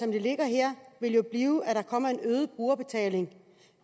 det ligger her vil jo blive at der kommer en øget brugerbetaling